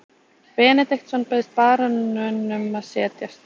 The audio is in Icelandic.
Benediktsson bauð baróninum að setjast.